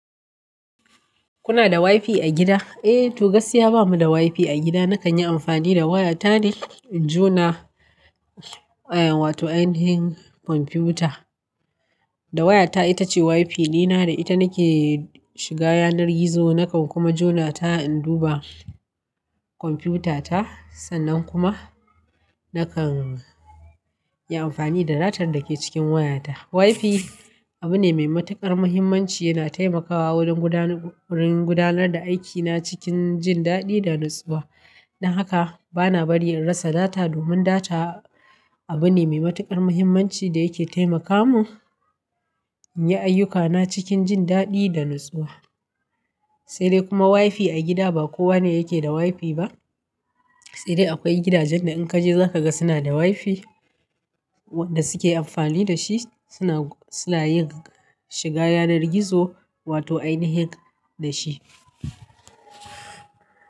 Kuna da wifi a gida? Eh to gaskiya bamu da wifi a gida. Nakan yi amfani da waya ta ne in jona, en wato ainihin kwamfuta. Da wayata itace wifi dina da ita nake shiga yanar gizo. Nakan kuma jona ta in duba kwamfutata. Sannan kuma nakan yi amfani da data da ke cikin wayata. Wifi abu ne mai matuƙar muhimmanci. Yana taimakawa wurin gudanar, wurin gudanar da aikina cikin jin daɗi da natsuwa. Don haka bana bari in rasa data domin data abu ne mai matuƙar muhimmanci da yake taimaka mun inyi ayyukana cikin jin daɗi da natsuwa. Se de kuma wifi a gida ba kowane yake da wifi ba. Se de akwai gidajen da inkaje zakaga suna da wifi wanda suke anfani da shi Suna, suna yin shiga yanar gizo wato ainihin da shi.